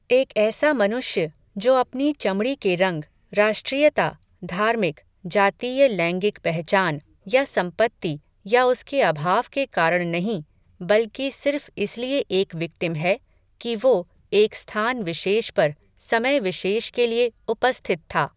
एक ऐसा मनुष्य, जो अपनी चमड़ी के रंग, राष्ट्रीयता, धार्मिक, जातीय लैंगिक पहचान, या सम्पत्ति, या उसके अभाव के कारण नहीं, बल्कि सिर्फ़ इसलिये एक विक्टिम है, कि वो, एक स्थान विशेष पर, समय विशेष के लिये, उपस्थित था